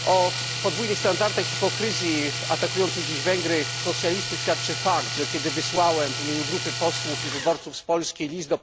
O podwójnych standardach i hipokryzji atakujących dziś Węgry socjalistów świadczy fakt, że kiedy wysłałem w imieniu grupy posłów i wyborców z Polski list do